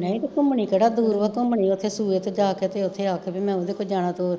ਨਈਂ ਤੇ ਘੁੰਮਣੀ ਕਿਹੜਾ ਦੂਰ ਵਾ ਘੁੰਮਣੀ ਓਥੇ ਸੂਏ ਤੇ ਜਾਕੇ ਤੇ ਓਥੇ ਆਖੇ ਵੀ ਮੈਂ ਓਦੇ ਕੋਲ ਜਾਣਾ ਤੇ